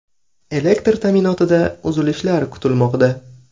Elektr ta’minotida uzilishlar kuzatilmoqda.